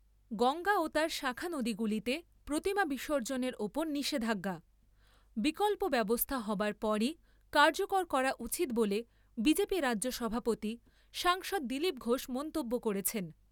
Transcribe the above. গঙ্গা ও তার শাখা নদীগুলিতে প্রতিমা বিসর্জনের ওপর নিষেধাজ্ঞা, বিকল্প ব্যবস্থা হবার পরই কার্যকর করা উচিত বলে বিজেপি রাজ্য সভাপতি, সাংসদ দিলীপ ঘোষ মন্তব্য করেছেন।